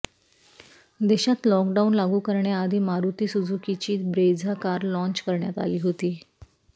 देशात लॉकडाऊन लागू करण्याआधी मारुती सुझुकीची ब्रेझा कार लाँच करण्यात आली होती